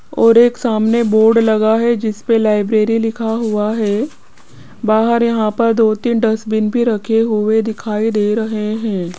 और एक सामने बोर्ड लगा है जीस पे लाइब्रेरी लिखा हुआ है बाहर यहां पर दो तीन डस्टबिन भी रखें हुए दिखाई दे रहे हैं।